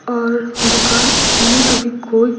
और दुकान में अभी कोई --